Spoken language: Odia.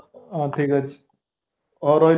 ହଁ ଠିକଅଛି ହଉରହିଲି